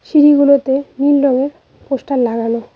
সিঁড়িগুলোতে নীল রঙের পোস্টার লাগানো।